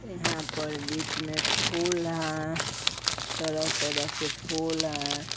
यहाँ पर बीच में फूल है तरह-तरह के फूल है ।